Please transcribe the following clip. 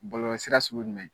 Bɔlɔlɔ sira sugu jumɛn ?